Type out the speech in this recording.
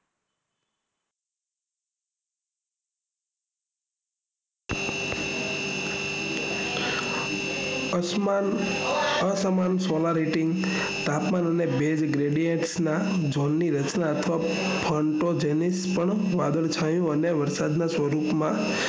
અસમાન solarity અને તાપમાન માં ઝોન ની રચના અથવા અને બાદલ છાયું અને વરસાદ ના સ્વરૂપમાં